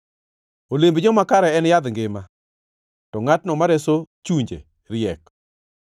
Olemb joma kare en yadh ngima, to ngʼatno ma reso chunje riek.